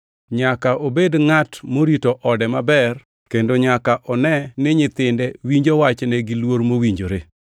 Nyaka obed ngʼat morito ode maber kendo nyaka one ni nyithinde winjo wachne gi luor mowinjore.